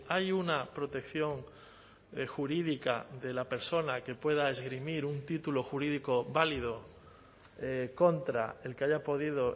hay una protección jurídica de la persona que pueda esgrimir un título jurídico válido contra el que haya podido